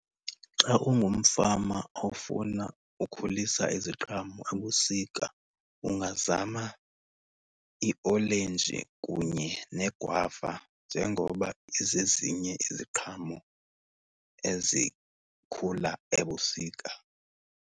Xa ungumfama ofuna ukhulisa iziqhamo ebusika ungazama iolenji kunye negwava njengoba izezinye iziqhamo ezikhula ebusika.